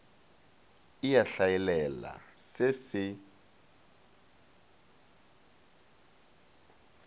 e a hlaelela se se